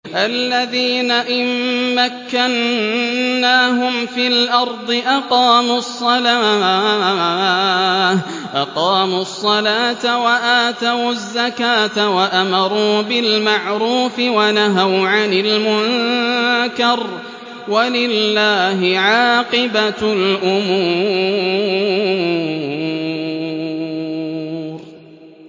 الَّذِينَ إِن مَّكَّنَّاهُمْ فِي الْأَرْضِ أَقَامُوا الصَّلَاةَ وَآتَوُا الزَّكَاةَ وَأَمَرُوا بِالْمَعْرُوفِ وَنَهَوْا عَنِ الْمُنكَرِ ۗ وَلِلَّهِ عَاقِبَةُ الْأُمُورِ